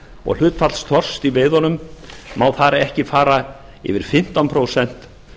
og hlutfall þorsks í veiðunum má ekki fara yfir fimmtán prósent